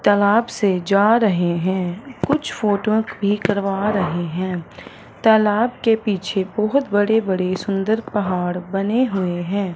तालाब से जा रहें हैं कुछ फोटो भी करवा रहें हैं तालाब के पीछे बहोत बड़े बड़े सुंदर पहाड़ बने हुएं हैं।